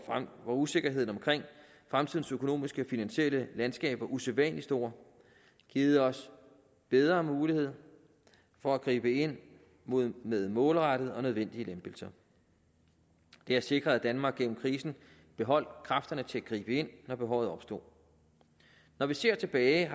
usikkerheden omkring fremtidens økonomiske finansielle landskaber er usædvanlig stor givet os bedre mulighed for at gribe ind med målrettede og nødvendige lempelser det har sikret at danmark gennem krisen beholdt kræfterne til at gribe ind når behovet opstod når vi ser tilbage